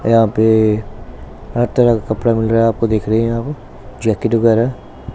यहां पे हर तरह का कपड़ा मिल रहा है आपको दिख रही है यहां पर जैकेट वगैरह।